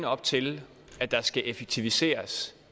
op til at der skal effektiviseres